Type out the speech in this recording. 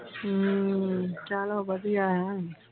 ਹਮ ਚਲੋ ਵਧੀਆ ਆ।